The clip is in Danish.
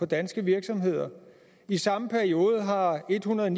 danske virksomheder i samme periode har ethundrede